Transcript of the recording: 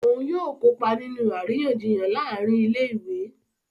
Òún yóò kópa nínú àríyànjiyàn láàrin ilé-ìwé